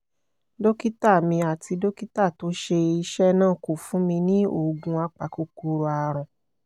dókítà mi àti dókítà tó ṣe iṣẹ́ náà kò fún mi ní oògùn apakòkòrò àrùn